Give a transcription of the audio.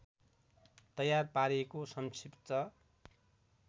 तयार पारेको सङ्क्षिप्त